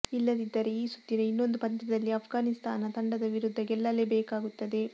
ಇಲ್ಲದಿದ್ದರೆ ಈ ಸುತ್ತಿನ ಇನ್ನೊಂದು ಪಂದ್ಯದಲ್ಲಿ ಆಫ್ಗಾನಿಸ್ತಾನ ತಂಡದ ವಿರುದ್ಧ ಗೆಲ್ಲಲೇ ಬೇಕಾಗುತ್ತದೆ